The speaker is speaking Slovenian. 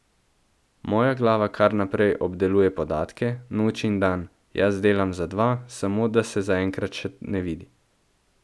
Moja glava kar naprej obdeluje podatke, noč in dan, jaz delam za dva, samo da se zaenkrat še ne vidi!